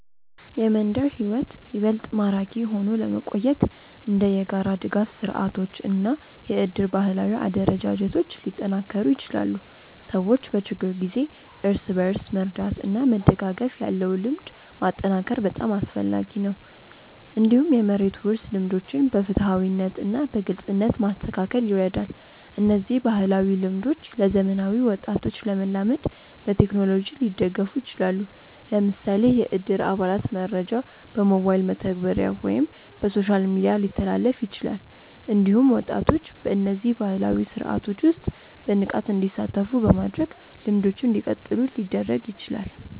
የመንደር ሕይወት ይበልጥ ማራኪ ሆኖ ለመቆየት እንደ የጋራ ድጋፍ ስርዓቶች እና የእድር ባህላዊ አደረጃጀቶች ሊጠናከሩ ይችላሉ። ሰዎች በችግር ጊዜ እርስ በርስ መርዳት እና መደጋገፍ ያለው ልምድ ማጠናከር በጣም አስፈላጊ ነው። እንዲሁም የመሬት ውርስ ልምዶችን በፍትሃዊነት እና በግልጽነት ማስተካከል ይረዳል። እነዚህ ባህላዊ ልምዶች ለዘመናዊ ወጣቶች ለመላመድ በቴክኖሎጂ ሊደገፉ ይችላሉ። ለምሳሌ የእድር አባላት መረጃ በሞባይል መተግበሪያ ወይም በሶሻል ሚዲያ ሊተላለፍ ይችላል። እንዲሁም ወጣቶች በእነዚህ ባህላዊ ስርዓቶች ውስጥ በንቃት እንዲሳተፉ በማድረግ ልምዶቹ እንዲቀጥሉ ሊደረግ ይችላል።